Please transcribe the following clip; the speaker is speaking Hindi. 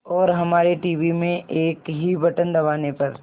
और हमारे टीवी में एक ही बटन दबाने पर